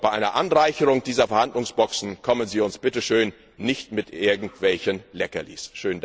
Bei einer Anreicherung dieser Verhandlungsboxen kommen Sie uns bitte schön nicht mit irgendwelchen Leckerlis!